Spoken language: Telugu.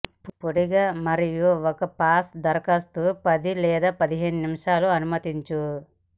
పొడిగా మరియు ఒక పాచ్ దరఖాస్తు పది లేదా పదిహేను నిమిషాల అనుమతించు